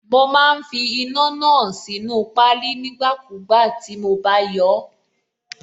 Mo má ń fi iná náà sínú páálí nígbàkúùgbà tí mo bá yọọ́.